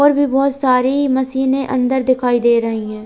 और भी बहोत सारी मशीने अन्दर दिखाई दे रही है।